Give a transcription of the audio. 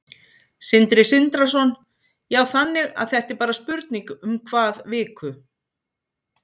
Sindri Sindrason: Já, þannig að þetta er bara spurning um hvað viku?